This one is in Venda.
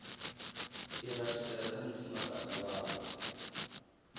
i rathisela kha mufumakadzi wavho